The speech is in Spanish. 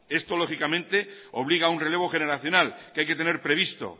esto lógicamente obliga a un relevo generacional que hay que tener previsto